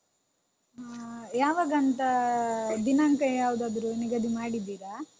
ಹ ಯಾವಾಗಾಂತ ದಿನಾಂಕ ಯಾವ್ದಾದ್ರೂ ನಿಗದಿ ಮಾಡಿದ್ದೀರಾ?